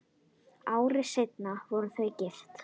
Ári seinna voru þau gift.